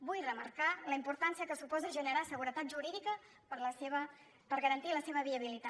vull remarcar la importància que suposa generar seguretat jurídica per garantir la seva viabilitat